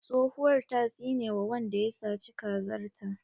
Tsohuwar ta tsine wa wanda ya saci kazar ta.